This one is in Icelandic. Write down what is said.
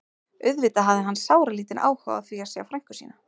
Auðvitað hafði hann sáralítinn áhuga á því að sjá frænku sína.